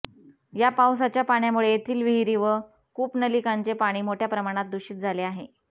या पावसाच्या पाण्यामुळे येथील विहिरी व कूपनलिकांचे पाणी मोठ्या प्रमाणात दूषित झाले आहे